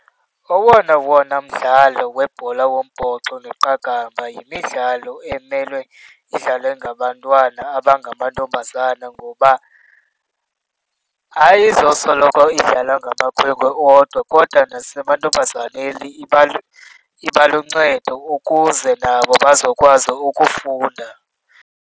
Owona wona mdlalo webhola wombhoxo neqakamba yimidlalo emele idlalwe ngabantwana abangamantombazana ngoba ayizosoloko idlalwa ngamakhwenkwe odwa, kodwa nasemantombazana iba iba luncedo ukuze nabo bazokwazi ukufunda.